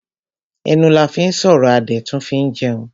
Ẹnu la fín sọ̀rọ̀ a dẹ̀ tún fín jẹun.